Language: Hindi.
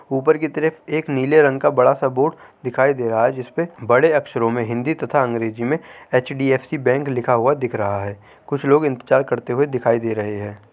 ऊपर कि तरफ एक नीले रंग का बड़ा सा बोर्ड दिखाई दे रहा है जिसमे बड़े अक्षरों में हिंदी तथा अंग्रेजी में एच.डी.एफ.सी. बैंक लिखा हुआ दिख रहा है कुछ लोग इंतज़ार करते दिखाई दे रहे हैं।